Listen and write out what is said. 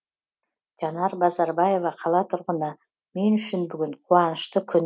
жанар базарбаева қала тұрғыны мен үшін бүгін қуанышты күн